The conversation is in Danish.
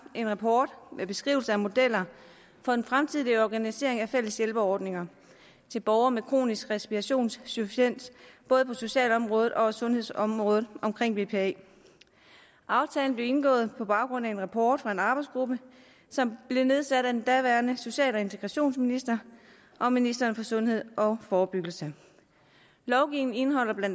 en rapport med beskrivelse af modeller for en fremtidig organisering af fælles hjælpeordninger til borgere med kronisk respirationsinsufficiens både på socialområdet og sundhedsområdet omkring bpa aftalen blev indgået på baggrund af en rapport fra en arbejdsgruppe som blev nedsat af den daværende social og integrationsminister og ministeren for sundhed og forebyggelse lovgivningen indeholder bla